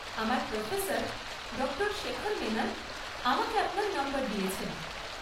আমার প্রফেসর, ডঃ শেখর মেনন, আমাকে আপনার নম্বর দিয়েছেন।